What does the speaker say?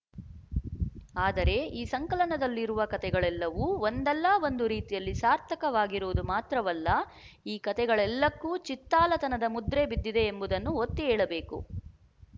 ಆದರೆ ಈ ಸಂಕಲನದಲ್ಲಿರುವ ಕಥೆಗಳೆಲ್ಲವೂ ಒಂದಲ್ಲ ಒಂದು ರೀತಿಯಲ್ಲಿ ಸಾರ್ಥಕವಾಗಿರುವುದು ಮಾತ್ರವಲ್ಲ ಈ ಕಥೆಗಳೆಲ್ಲಕ್ಕೂ ಚಿತ್ತಾಲತನದ ಮುದ್ರೆ ಬಿದ್ದಿದೆ ಎಂಬುದನ್ನು ಒತ್ತಿ ಹೇಳಬೇಕು